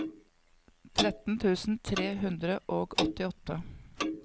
tretten tusen tre hundre og åttiåtte